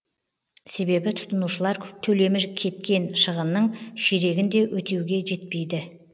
себебі тұтынушылар төлемі кеткен шығынның ширегін де өтеуге жетпейді